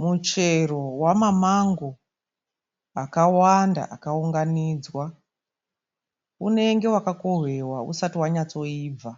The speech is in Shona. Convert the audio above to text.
Muchero wema mango akawanda akawunganidzwa. Unenge wakakowewa asati anyatsoyibva.